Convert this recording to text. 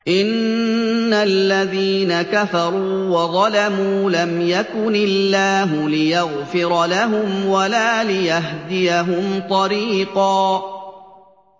إِنَّ الَّذِينَ كَفَرُوا وَظَلَمُوا لَمْ يَكُنِ اللَّهُ لِيَغْفِرَ لَهُمْ وَلَا لِيَهْدِيَهُمْ طَرِيقًا